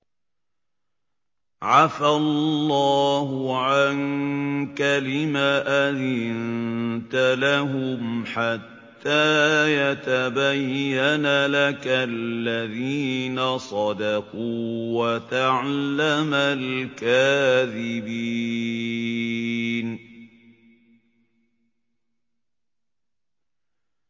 عَفَا اللَّهُ عَنكَ لِمَ أَذِنتَ لَهُمْ حَتَّىٰ يَتَبَيَّنَ لَكَ الَّذِينَ صَدَقُوا وَتَعْلَمَ الْكَاذِبِينَ